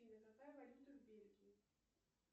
афина какая валюта в бельгии